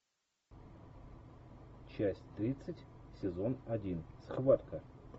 часть тридцать сезон один схватка